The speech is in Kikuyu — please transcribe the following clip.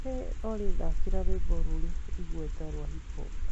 hey olly thakira rwĩmbo rurĩ igweta rwa hip hop